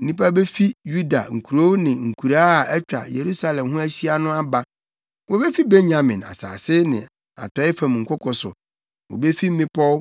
Nnipa befi Yuda nkurow ne nkuraa a atwa Yerusalem ho ahyia no aba, wobefi Benyamin asase ne atɔe fam nkoko so, wobefi mmepɔw,